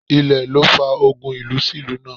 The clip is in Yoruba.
Ilẹ̀ ló fa ogun ìlú sí ìlú náà